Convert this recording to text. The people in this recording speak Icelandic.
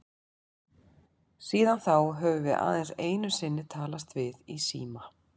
Síðan þá höfum við aðeins einu sinni talast við í síma.